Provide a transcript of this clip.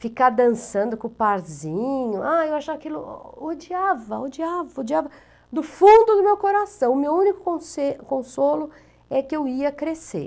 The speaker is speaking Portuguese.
ficar dançando com o parzinho, eu achava aquilo, odiava, odiava, odiava, do fundo do meu coração, o meu único consolo é que eu ia crescer.